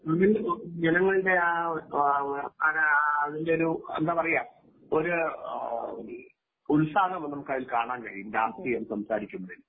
ജനങ്ങളുടെ ആ ആ ഒരു അതിന്റെ ഒരു എന്താ പറയുക ഒരു ഉത്സാഹ നമുക്ക് അതിൽ കാണാൻ കഴിയും രാഷ്ട്രീയം സംസാരിക്കുന്നതിൽ.